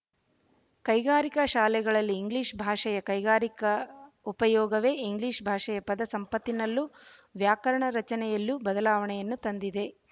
ಕೈಗಾರಿಕಾ ಶಾಲೆಗಳಲ್ಲಿ ಇಂಗ್ಲಿಶ ಭಾಷೆಯ ಕೈಗಾರಿಕಾ ಉಪಯೋಗವೇ ಇಂಗ್ಲಿಶ ಭಾಷೆಯ ಪದ ಸಂಪತ್ತಿನಲ್ಲೂ ವ್ಯಾಕರಣ ರಚನೆಯಲ್ಲಿಯೂ ಬದಲಾವಣೆಯನ್ನು ತಂದಿದೆ